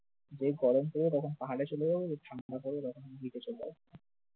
যেই গরম পড়বে তখন পাহাড়ে চলে যাবো, যখন ঠান্ডা পড়বে তখন beach এ চলে যাব